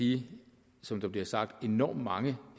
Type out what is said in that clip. de som der bliver sagt enormt mange